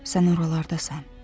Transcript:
Sən oralardasan.